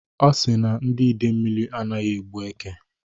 Ọ si na ndị Idemili anaghị egbu èkè.